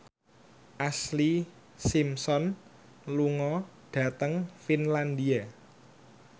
Ashlee Simpson lunga dhateng Finlandia